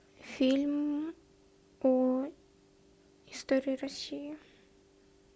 фильм о истории россии